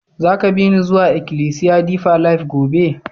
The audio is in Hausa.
Za ka bi ni zuwa ikilisiya Deeper life gobe?